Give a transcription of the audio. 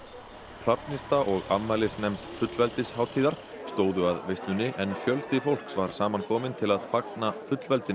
Hrafnista og afmælisnefnd stóðu að veislunni en fjöldi fólks var saman kominn til að fagna fullveldinu